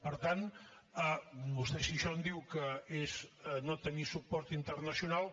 per tant vostè si d’això en diu que és no tenir suport internacional